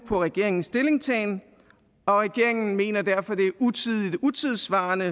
på regeringens stillingtagen og regeringen mener derfor at det er utidigt utidssvarende